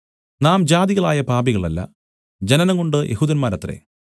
നാം ജാതികളായ പാപികളല്ല ജനനംകൊണ്ട് യെഹൂദന്മാരത്രെ